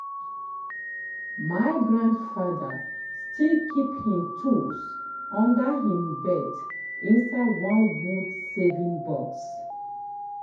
my grandfather still keep him tools under him bed inside one wood saving box.